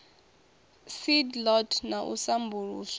seed lot na u sambuluswa